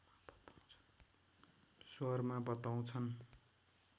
स्वरमा बताउँछन्